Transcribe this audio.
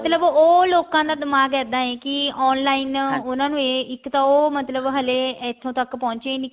ਮਤਲਬ ਉਹ ਲੋਕਾਂ ਦਾ ਦਿਮਾਗ ਇੱਦਾਂ ਹੈ ਵੀ ਕੀ ਉਹਨਾ ਨੂੰ ਇਹ ਇੱਕ ਤਾਂ ਉਹ ਹਲੇ ਇੱਥੋਂ ਤੱਕ ਪਹੁੰਚੇ ਨੀ